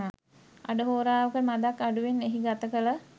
අඩහෝරාවකට මදක් අඩුවෙන් එහි ගතකල